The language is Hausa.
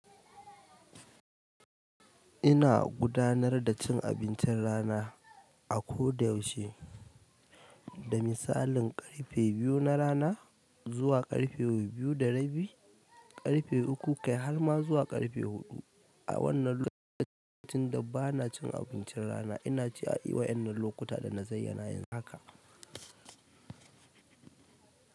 Ina gudanar da cin abincin rana a koda yaushe da misalin ƙarfe biyu na rana zuwa ƙarfe biyu da rabi, ƙarfe uku, kai harma zuwa ƙarfe huɗu a wannan lokacin da bana cin abinci rana, inaci a dai waƴannan lokuta dana zayyana yanzu haka.